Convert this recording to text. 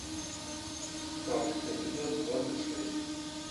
фабрика эпизод двадцать шесть